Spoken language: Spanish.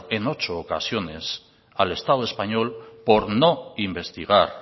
en ocho ocasiones al estado español por no investigar